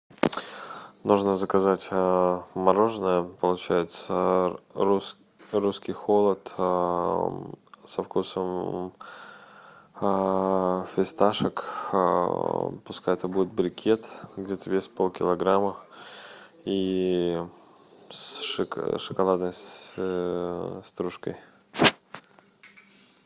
нужно заказать мороженое получается русский холод со вкусом фисташек пускай это будет брикет где то вес полкилограмма и с шоколадной стружкой